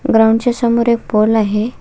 Ground च्या समोर एक पोल आहे.